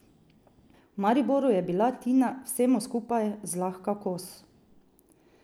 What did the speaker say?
V Mariboru je bila Tina vsemu skupaj zlahka kos.